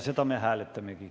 Seda me hääletamegi.